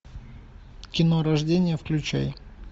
кино рождение включай